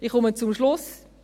Ich komme zum Schluss: